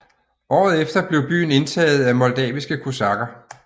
Året efter blev byen indtaget af moldaviske kosakker